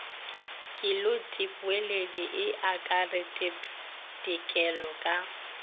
kelotpweledi e akaretpa dikelo ka